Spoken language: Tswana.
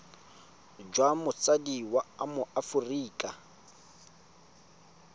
jwa motsadi wa mo aforika